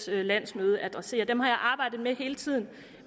landsmøde adresserer dem har jeg arbejdet med hele tiden